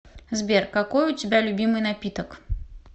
сбер какой у тебя любимый напиток